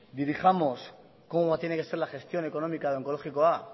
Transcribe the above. dirijamos cómo tiene que ser la gestión económica de onkologikoa